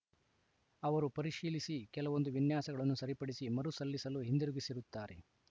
ಅವರು ಪರಿಶೀಲಿಸಿ ಕೆಲವೊಂದು ವಿನ್ಯಾಸಗಳನ್ನು ಸರಿಪಡಿಸಿ ಮರು ಸಲ್ಲಿಸಲು ಹಿಂದಿರುಗಿಸಿರುತ್ತಾರೆ